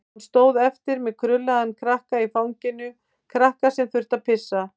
Hann stóð eftir með krullaðan krakka í fanginu, krakka sem þurfti að pissa.